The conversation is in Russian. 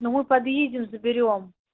ну мы подъедем заберём